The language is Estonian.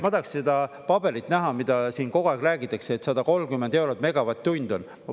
Ma tahaks seda paberit näha, mida siin kogu aeg räägitakse, et 130 eurot megavatt-tund on.